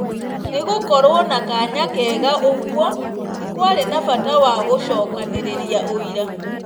Nĩgũkorwo na kaanya kega ũgũo, nĩkũarĩ na bata wa gũcokanĩrĩria ũira